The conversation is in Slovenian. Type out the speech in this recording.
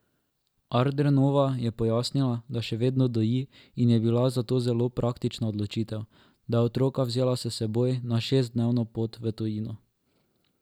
Ardernova je pojasnila, da še vedno doji in je bila zato zelo praktična odločitev, da je otroka vzela s seboj na šestdnevno pot v tujino.